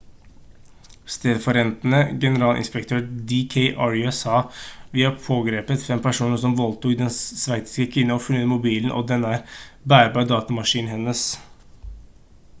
stedfortredende generalinspektør d k arya sa: «vi har pågrepet fem personer som voldtok den sveitsiske kvinnen og funnet mobilen og den bærbare datamaskinen hennes»